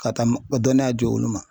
Ka taa dɔnniya di olu ma .